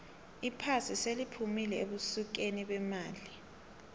iphasi seliphumile ebusikeni bemali